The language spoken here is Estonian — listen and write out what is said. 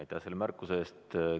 Aitäh selle märkuse eest!